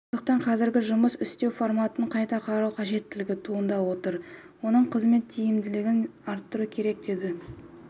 сондықтан қазіргі жұмыс істеу форматын қайта қарау қажеттілігі туындап отыр оның қызмет тиімділігін арттыру керек деді